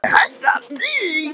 Er nokkur hætta á því?